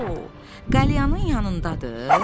Co, qəlyanım yanındadır?